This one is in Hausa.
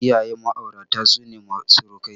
Iyayen Ma'aurata sune surukai.